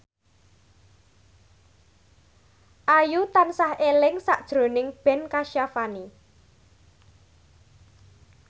Ayu tansah eling sakjroning Ben Kasyafani